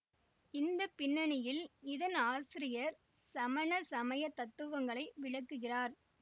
இந்த பின்னணியில் இதன் ஆசிரியர் சமண சமய தத்துவங்களை விளக்குகிறார்